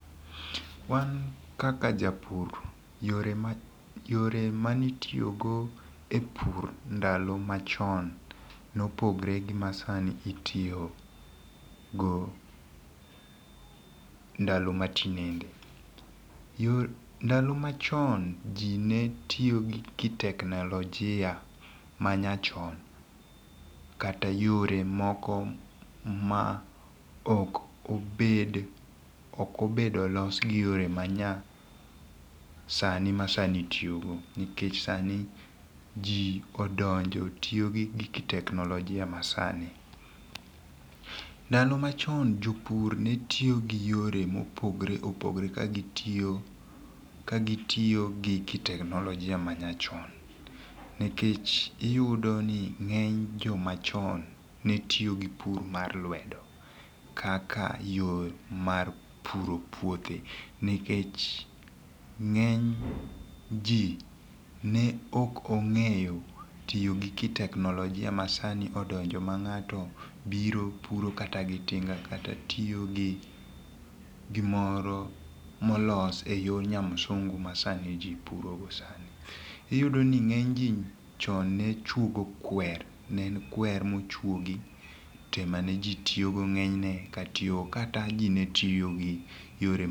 Wan kaka japur, yore ma, yore mane itiyogo e pur ndalo machon, nopogore gi masani itiyogo ndalo ma tinende. Yo, ndalo machon ji netiyogi kiteknolojia manyachon, kata yore moko ma ok obed, okobedo los gi yore manyasani masani itiyogo. Nikech sani ji odonjo, tiyogi kiteknolojia masani. Ndalo machon, jopur netiyogi yore mopogore opogore kagitiyo, kagitiyo gi kiteknolojia manyachon. Nikech iyudo ni ngény jomachon, ne tiyo gi pur mar lwedo, kara yo mar puro puothe, nikech ngény ji ne ok ongéyo tiyo gi kiteknolojia masani odonjo ma ngáto biro puro kata gi tinga kata tiyo gi gimoro molos e yo nyamsungu ma sani ji puro go sani. Iyudo ni ngény ji chon ne chuogo kwer, ne en kwer mochwogi, to emane ji tiyogo ngény ne ka tiyo, kata ji ne tiyogi yore